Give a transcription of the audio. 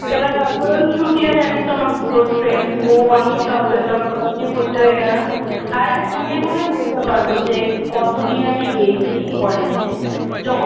এবার তারপরে ওই শ্রুতিরা জানিস তো আমার খুব close friend ও, আমি সব চৈতন্য কলেজেই ভর্তি হয়ে গেলাম আর আমি গুনে গুনে বলতে পারব যে কত দিন আমি গেছি কলেজে যখন